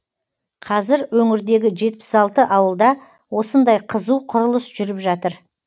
қазір өңірдегі жетпіс алты ауылда осындай қызу құрылыс жүріп жатыр